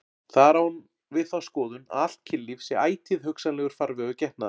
Þar á hún við þá skoðun að allt kynlíf sé ætíð hugsanlegur farvegur getnaðar.